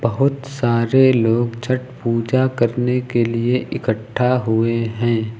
बहोत सारे लोग छठ पूजा करने के लिए इकठा हुए हैं।